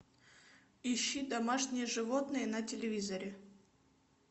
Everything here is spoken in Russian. ищи домашние животные на телевизоре